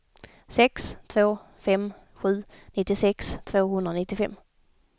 sex två fem sju nittiosex tvåhundranittiofem